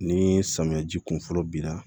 Ni samiya ji kun fɔlɔ bi na